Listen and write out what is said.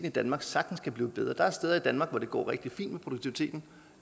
i danmark sagtens kan blive bedre der er steder i danmark hvor det går rigtig fint med produktiviteten